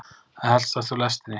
Að heltast úr lestinni